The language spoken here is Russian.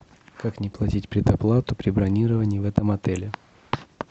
как не платить предоплату при бронировании в этом отеле